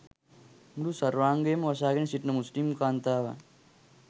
මුළු සර්වාංගයම වසාගෙන සිටින මුස්‌ලිම් කාන්තාවන්